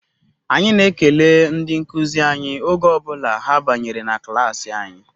Anyị na-ekele ndị nkuzi anyị oge ọ bụla ha banyere na klaasị anyị